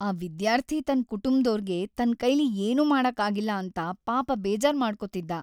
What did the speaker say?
ಆ ವಿದ್ಯಾರ್ಥಿ ತನ್ ಕುಟುಂಬ್ದೋರ್ಗೆ ತನ್ಕೈಲಿ ಏನೂ ಮಾಡಕ್ ಆಗಿಲ್ಲ ಅಂತ ಪಾಪ ಬೇಜಾರ್‌ ಮಾಡ್ಕೊತಿದ್ದ.